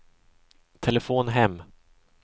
telefon hem